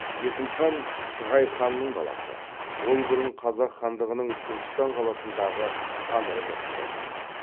есім хан шығай ханның баласы ол бұрын қазақ хандығының түркістан қаласындағы хан ордасында тұрған